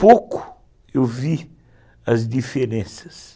Pouco eu vi as diferenças.